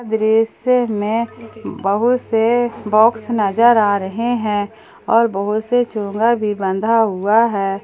दृश्य में बहुत से बॉक्स नजर आ रहे हैं और बहुत से चोंगा भी बंधा हुआ है।